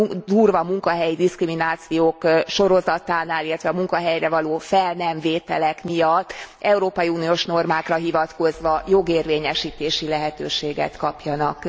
a durva munkahelyi diszkriminációk sorozatánál, illetve a munkahelyre való fel nem vételek miatt európai uniós normákra hivatkozva jogérvényesítési lehetőséget kapjanak?